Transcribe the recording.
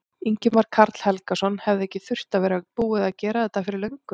Ingimar Karl Helgason: Hefði ekki þurft að vera búið að gera þetta fyrir löngu?